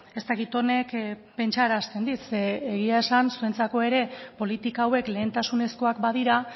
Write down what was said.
ez dakit honek pentsarazten dit zeren eta egia esan zuentzako ere politika hauek lehentasunezkoak badira